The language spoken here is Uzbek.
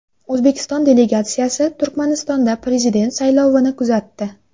O‘zbekiston delegatsiyasi Turkmanistonda prezident saylovini kuzatdi.